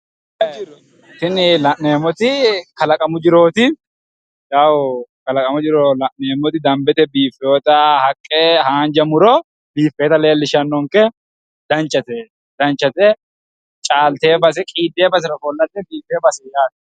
Tini la'neemmoti kalaqamu jirooti. Kalaqamu jiro la'neemmoti dambete biiffiwota haqqe haanja muro biiffiwota leellishshannonke. Danchate caaltiwo basera qiiddiwo basera ofollate qiiddiwo baseeti yaate.